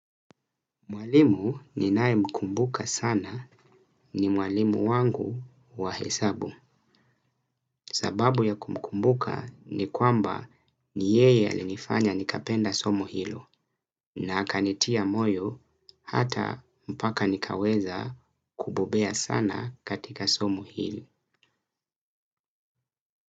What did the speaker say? Mwalimu ninae mkumbuka sana ni mwalimu wangu wa hesabu. Sababu ya kumkumbuka ni kwamba ni yeye alinifanya nikapenda somo hilo. Na akanitia moyo hata mpaka nikaweza kubobea sana katika somo hili.